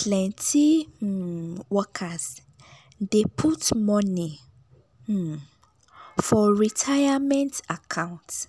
plenty um workers dey put money um for retirement account